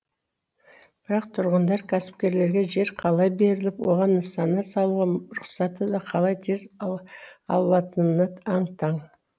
бірақ тұрғындар кәсіпкерлерге жер қалай беріліп оған нысаны салуға рұқсатты да қалай тез алатынына аң таң